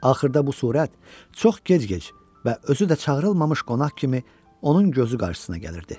Axırda bu surət çox gec-gec və özü də çağırılmamış qonaq kimi onun gözü qarşısına gəlirdi.